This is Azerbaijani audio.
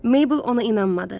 Meybl ona inanmadı.